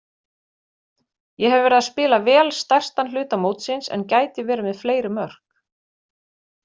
Ég hef verið að spila vel stærstan hluta mótsins en gæti verið með fleiri mörk.